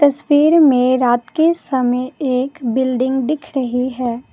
तस्वीर में रात के समय एक बिल्डिंग दिख रही है ।